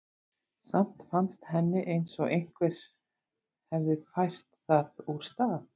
Samt fannst henni eins og einhver hefði fært það úr stað.